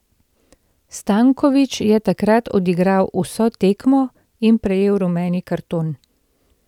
Stanković je takrat odigral vso tekmo in prejel rumeni karton.